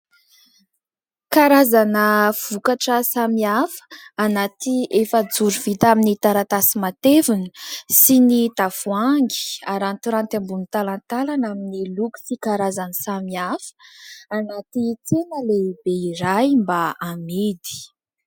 Karazana vokatra samihafa anaty efajoro vita amin'ny taratasy matevina sy ny tavoahangy arantiranty ambonin'ny talantalana amin'ny loko sy karazany samihafa anaty tsena lehibe iray mba amidy.